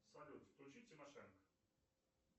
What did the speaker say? салют включи тимошенко